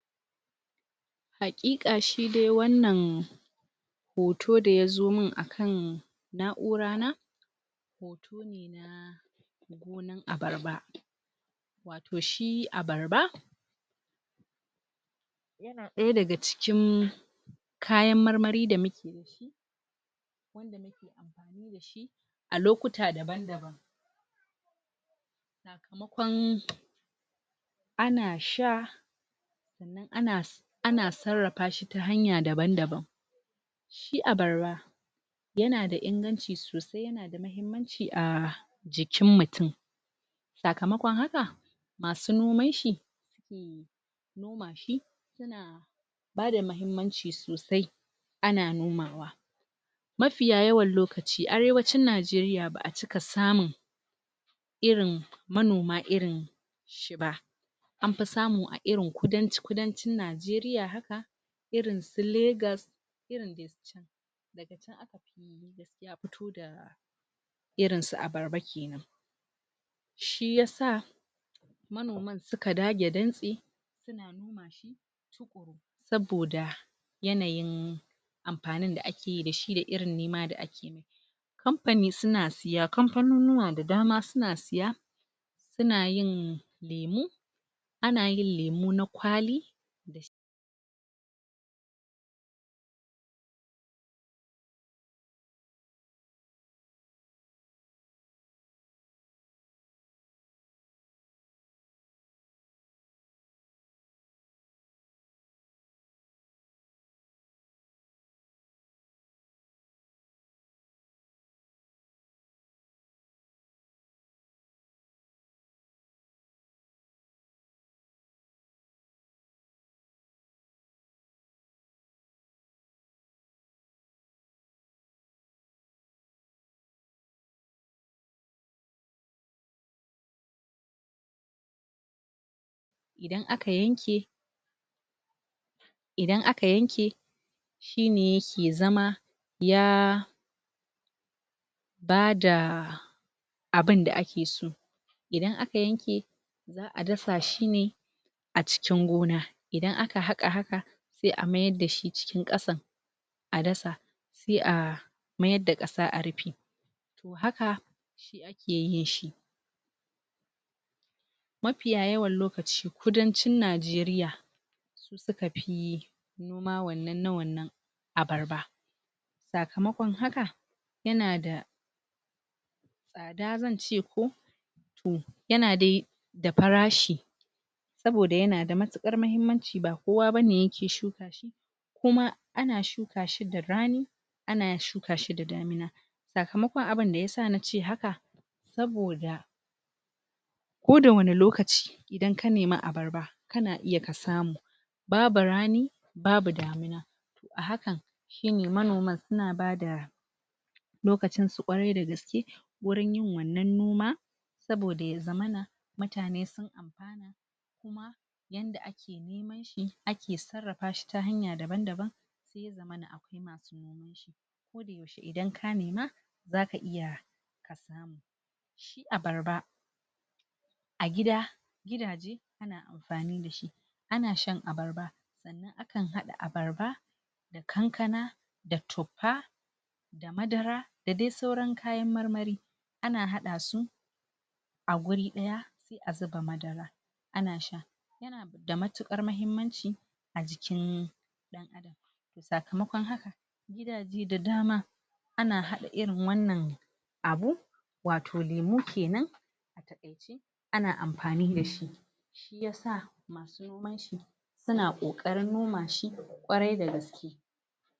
Hakika shi dai wanan hoto da ya zo min akan na'ura na hoto ne, na gonan abarba wato shi abarba yana daya daga cikin kayan marmari da muke da shi wanda muke amfani da shi a lokuta daban daban sakamakon ana sha sanan ana ana tsarafa shi ta hanyan daban daban shi abarba yana da inganci sosai yana da mahimanci a jikin mutum sakamakon haka masu noman shi suke noma shi suna mahimanci sosai ana nomawa mafiya yawan lokaci, arewacin Nigeria ba a cika samun irin manoma irin shi ba an fi samu a irin kudanci kudanci Nigeria haka irin su Lagos irin dai su chan daga chan aka fi gaskiya fito da irin su abarba kenan shi yasa suka dage dantsi suna noma shi tukuru saboda yanayin amfanin da ake yi da shi, da irin nima da ake yi mai campani suna siya, campanonuwa da dama suna siya suna yin lemu anayin lemu na kwali da shi idan aka yanke idan aka yanke shi ne yake zama ya bada abin da ake so idan aka yanke za a dasa shi ne a cikin gona idan a ka haqa haka sai a mayar da shi cikin kasan a dasa sai a mayar da qasa a rife toh haka shi ake yin shi mafiya yawan lokaci, kudancin Nigeria su suka fi noma wanan, na wanan abarba sakamakon haka yana da tsada zan ce ko toh yana dai da farashi saboda yana da mutukar mahimanci, ba kowa bane ke shuka shi kuma ana shuka shi da rani ana shuka shi da damina sakamakon abin da yasa na ce haka saboda ko da wane lokaci idan ka nima abarba kana iya ka samu babu rani babu damina toh a hakan shine manoma suna bada lokacin su kwarai da gaske wurin yin wana noma saboda, ya zamana mutane sun amfana kuma yada ake niman shi, ake tsarafa shi ta hanya daban daban sai ya zamana akwai masu noman shi idan ka nema zaka iya ka samu shi abarba a gida gidaje ana amfani da shi ana shan abarba sanan akan hada abarba da kankana da thopa da dai sauran kayan marmari ana hada su a wuri daya, sai a zuba madara, ana sha yana da mutukar mahimanci a jikin dan adam toh, sakamakon haka gidaje da dama ana hada irin wanan abu wato lemu kenan a takaice ana amfani da shi shi yasa masu noman shi suna kokarin noma shi kwarai da gaske